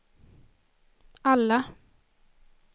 alla